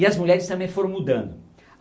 E as mulheres também foram mudando.